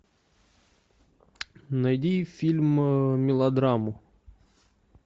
найди фильм мелодраму